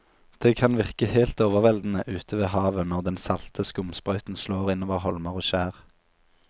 Det kan virke helt overveldende ute ved havet når den salte skumsprøyten slår innover holmer og skjær.